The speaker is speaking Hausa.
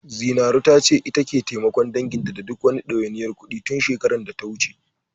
Zinaru ta ce, ita take taimakon danginta da duk wani ɗawainiyar kuɗi, tun shekarar data wuce.